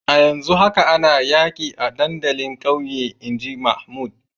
A yanzu haka ana yaki a dandalin kauyen in ji Mahmood.